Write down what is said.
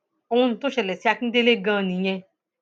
ohun tó ṣẹlẹ sí akíndélé ganan nìyẹn